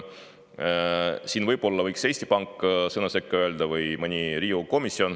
Siin võiks võib-olla sõna sekka öelda Eesti Pank või mõni Riigikogu komisjon.